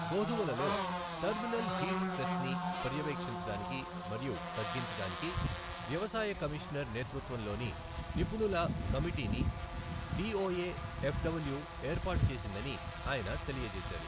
గోధుమలలో terminal heat స్ట్రెస్ని పర్యవేక్షించడానికి మరియు తగ్గించడానికి వ్యవసాయ కమిషనర్ నేతృత్వంలోని నిపుణుల కమిటీని డిఒఏ ఎఫ్డబ్ల్యూ ఏర్పాటు చేసిందని ఆయన తెలియజేసారు.